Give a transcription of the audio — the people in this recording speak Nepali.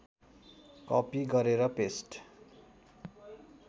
कपि गरेर पेस्ट